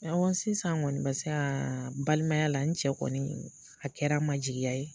Sisan paseka balimaya la n cɛ kɔni a kɛra n ma jigiya ye.